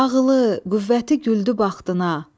Ağılı, qüvvəti güldü bəxtına.